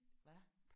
Hvad?